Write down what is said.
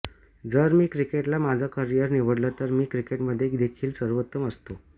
जर मी क्रिकेटला माझं करिअर निवडलं तर मी क्रिकेटमध्ये देखील सर्वोत्तम असतो